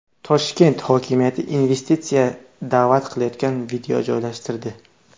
Toshkent hokimiyati investitsiyaga da’vat qiladigan video joylashtirdi.